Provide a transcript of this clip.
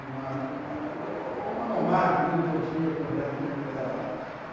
uma monark muito antiga com breque no pedal.